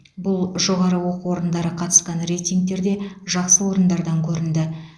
бұл жоғары оқу орындары қатысқан рейтингтерде жақсы орындардан көрінді